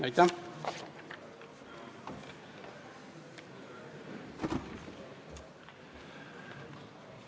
Aitäh!